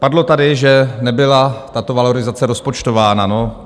Padlo tady, že nebyla tato valorizace rozpočtována.